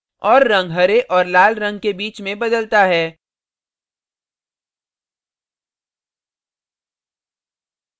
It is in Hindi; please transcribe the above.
और रंग हरे और लाल रंग के बीच में बदलता है